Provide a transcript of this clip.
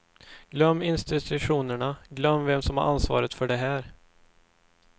Glöm institutionerna, glöm vem som har ansvaret för det här.